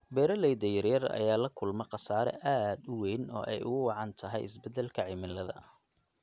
Beeralayda yaryar ayaa la kulma khasaare aad u weyn oo ay ugu wacan tahay isbedelka cimilada.